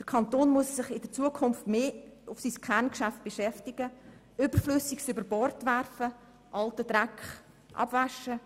Der Kanton muss sich in Zukunft mehr auf sein Kerngeschäft konzentrieren, Überflüssiges über Bord werfen und alten Dreck abwaschen.